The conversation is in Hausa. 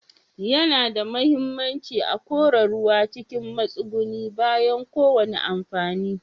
Yana da muhimmanci a kora ruwa cikin matsugunni bayan kowane amfani.